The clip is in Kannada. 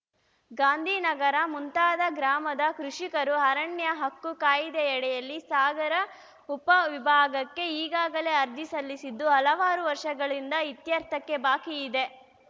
ಗಾಂಧಿನಗರ ಮುಂತಾದ ಗ್ರಾಮದ ಕೃಷಿಕರು ಅರಣ್ಯ ಹಕ್ಕು ಕಾಯಿದೆಯಡಿಯಲ್ಲಿ ಸಾಗರ ಉಪ ವಿಭಾಗಕ್ಕೆ ಈಗಾಗಲೇ ಅರ್ಜಿ ಸಲ್ಲಿಸಿದ್ದು ಹಲವಾರು ವರ್ಷಗಳಿಂದ ಇತ್ಯರ್ಥಕ್ಕೆ ಬಾಕಿ ಇದೆ